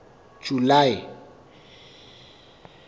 july